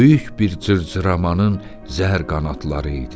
Böyük bir cırcıramanın zəhər qanadları idi.